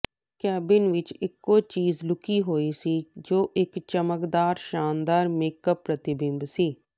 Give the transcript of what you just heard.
cabin ਵਿਚ ਇਕੋ ਚੀਜ਼ ਲੁਕੀ ਹੋਈ ਸੀ ਜੋ ਇਕ ਚਮਕਦਾਰ ਸ਼ਾਨਦਾਰ ਮੇਕਅੱਪ ਪ੍ਰਤੀਬਿੰਬ ਸੀ